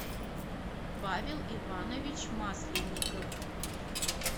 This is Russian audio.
павел иванович масленников